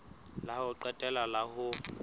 la ho qetela la ho